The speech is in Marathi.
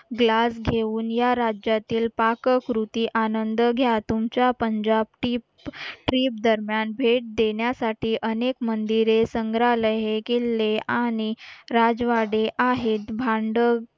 ग्लास घेऊन या राज्यातील पाककृती आनंद घ्या तुमच्या पंजाब टीप ट्रीप दरम्यान भेट देण्यासाठी अनेक मंदिरे संग्रहालय हे किल्ले आणि राजवाडे आहेत भांड